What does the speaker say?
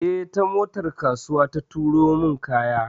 Eh, ta motar kasuwa ta turo min kaya.